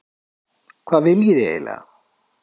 Hvað viljið þið eiginlega?